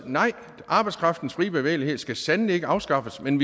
nej arbejdskraftens frie bevægelighed skal sandelig ikke afskaffes men